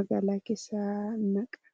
magaalaa keessa naqa